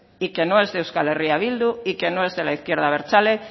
y que no es de euskal herria bildu y que no es de la izquierda abertzale